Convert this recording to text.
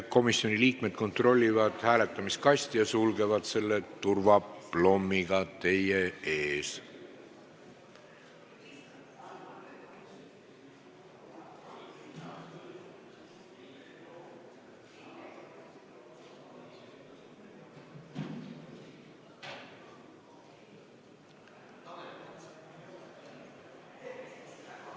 Komisjoni liikmed kontrollivad hääletamiskasti ja sulgevad selle teie ees turvaplommiga.